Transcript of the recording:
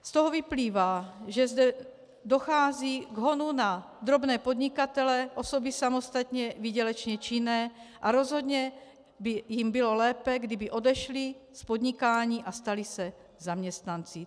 Z toho vyplývá, že zde dochází k honu na drobné podnikatele, osoby samostatně výdělečně činné a rozhodně by jim bylo lépe, kdyby odešli z podnikání a stali se zaměstnanci.